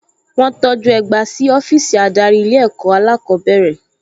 Wọ́n tọjú ẹgba sí ọ́fíìsì adarí ilé ẹ̀kọ́ alákọ̀ọ́bẹ̀rẹ̀